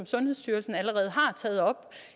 sundhedsstyrelsen allerede har taget op